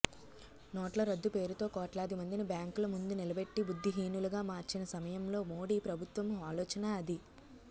నోట్ల రద్దు పేరుతో కోట్లాది మందిని బ్యాంకుల ముందు నిలబెట్టి బుద్ధిహీనులుగా మార్చిన సమయంలో మోడీ ప్రభుత్వం ఆలోచన అదే